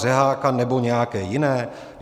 Řeháka nebo nějaké jiné?